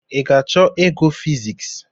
I ga-achọ ịgụ fiziks